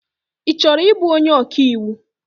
Ị chọrọ ịbụ onye ọkaiwu?